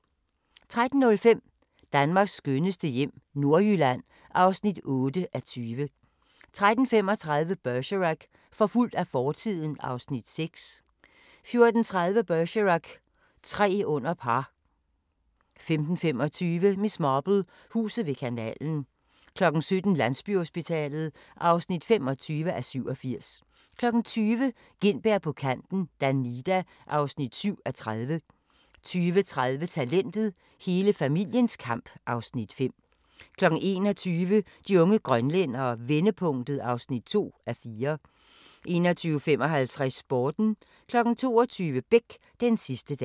13:05: Danmarks skønneste hjem - Nordjylland (8:20) 13:35: Bergerac: Forfulgt af fortiden (Afs. 6) 14:30: Bergerac: Tre under par 15:25: Miss Marple: Huset ved kanalen 17:00: Landsbyhospitalet (25:87) 20:00: Gintberg på kanten - Danida (7:30) 20:30: Talentet – Hele familiens kamp (Afs. 5) 21:00: De unge grønlændere – vendepunktet (2:4) 21:55: Sporten 22:00: Beck: Den sidste dag